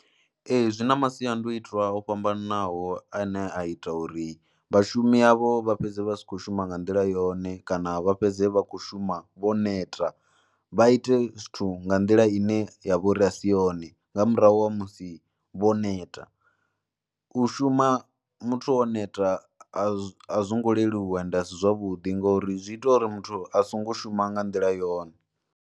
Ee zwi na masiandoitwa o fhambananaho ane a ita uri vhashumi avho vha fhedze vha si khou shuma nga nḓila yone kana vha fhedze vha khou shuma vho neta, vha ite zwithu nga nḓila ine ya vho ri a si yone nga murahu ha musi vho neta. U shuma muthu o neta a zwo ngo leluwa nda si zwavhuḓi ngauri zwi ita uri muthu a songo shuma nga nḓila yone.